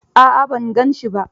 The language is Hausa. A'a ban gan shi ba.